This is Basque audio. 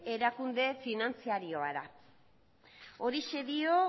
erakunde finantzarioa da horixe dio